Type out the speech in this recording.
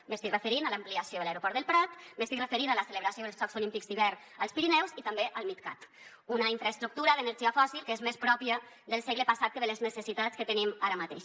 m’estic referint a l’ampliació de l’aeroport del prat m’estic referint a la celebració dels jocs olímpics d’hivern als pirineus i també al midcat una infraestructura d’energia fòssil que és més pròpia del segle passat que de les necessitats que tenim ara mateix